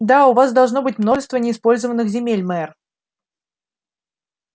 да у вас должно быть множество неиспользованных земель мэр